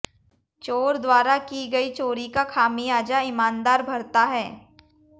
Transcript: चोर द्वारा की गई चोरी का खामियाजा ईमानदार भरता है